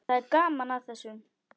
Það er gaman að þessu.